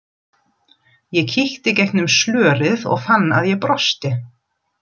Ég kíkti gegnum slörið og fann að ég brosti.